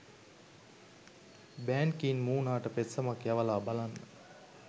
බෑන් කී මූනාට පෙත්සමක් යවලා බලන්න.